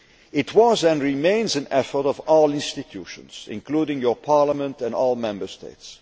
It was, and remains, an effort of all institutions, including this Parliament and all the Member States.